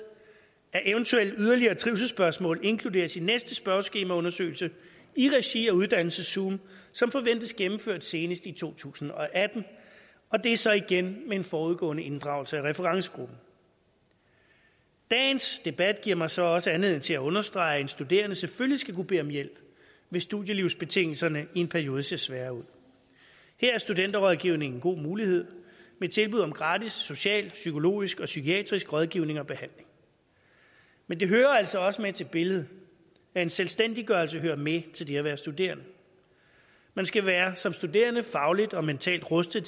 at eventuelle yderligere trivselsspørgsmål inkluderes i næste spørgeskemaundersøgelse i regi af uddannelseszoom som forventes gennemført senest i to tusind og atten og det er så igen med en forudgående inddragelse af referencegruppen dagens debat giver mig så også anledning til at understrege at en studerende selvfølgelig skal kunne bede om hjælp hvis studielivsbetingelserne i en periode ser svære ud her er studenterrådgivningen en god mulighed med tilbud om gratis social psykologisk og psykiatrisk rådgivning og behandling men det hører altså også med til billedet at en selvstændiggørelse hører med til det at være studerende man skal som studerende være fagligt og mentalt rustet